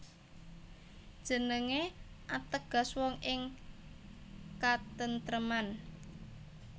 Jenengé ateges wong ing katentreman